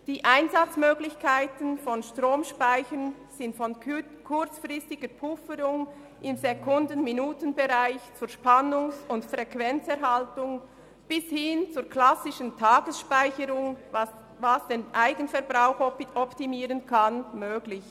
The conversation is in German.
Die Einsatzmöglichkeiten von Stromspeichern sind von kurzzeitiger Pufferung im Sekunden-Minuten-Bereich zur Spannungs- und Frequenzerhaltung bis hin zur klassischen Tagesspeicherung, die den Eigenverbrauch optimieren kann, möglich.